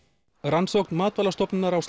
rannsókn Matvælastofnunar á